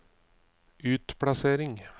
utplassering